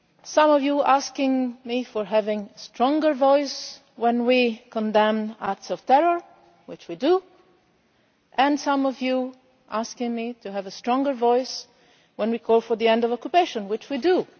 Some of you ask me to speak with a stronger voice when we condemn acts of terror, which we do, and some of you ask me to have a stronger voice when we call for the end of occupation, which we do.